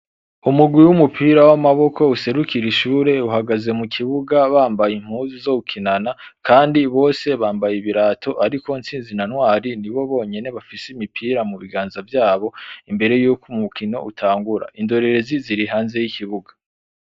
Umugwi w'umupira w'amaboko userukira ishure, uhagaze mu kibuga bambaye impuzu zo gukinana kandi bose bambaye ibirato, ariko Tsinzi na Ntwari nibo bonyene bafise imipira mu biganza vyabo imbere yuko umukino utangura, indorerezi zirihanze y'ikibuga.